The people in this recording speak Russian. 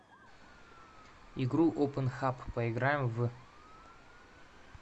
игру опенхаб поиграем в